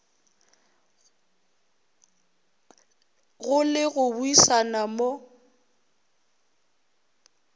go le go buisana mo